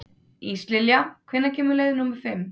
Íslilja, hvenær kemur leið númer fimm?